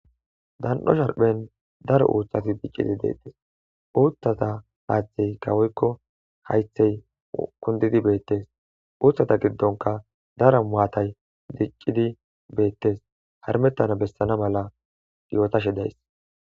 dan'o sharphen daro uuthati diccidi beetes uuttata haatheyika woykko haythey kundidi beettes uuthata giddonka dara maatay diccidi beettes harmettana bessana mala yootashe days